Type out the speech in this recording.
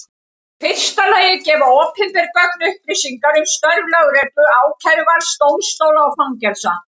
Í fyrsta lagi gefa opinber gögn upplýsingar um störf lögreglu, ákæruvalds, dómstóla og fangelsa.